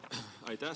Aitäh!